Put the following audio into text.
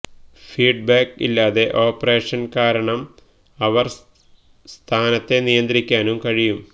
feedback ഇല്ലാതെ operation കാരണം അവർ സ്ഥാനത്തെ നിയന്ത്രിക്കാനും കഴിയും